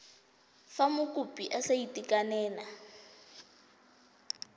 fa mokopi a sa itekanela